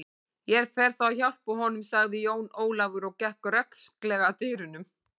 Ég fer þá að hjálpa honum, sagði Jón Ólafur og gekk rösklega að dyrunum.